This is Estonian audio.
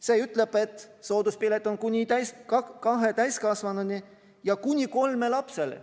See ütleb, et sooduspilet on kuni kahele täiskasvanule ja kuni kolmele lapsele.